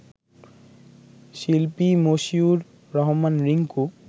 শিল্পী মশিউর রহমান রিংকু